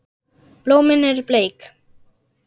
Blómin eru bleik.